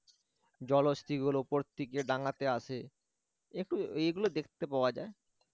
জলহস্তীগুলো উপর থেকে ডাঙ্গাতে আসে একটু এগুলো দেখতে পাওয়া যায়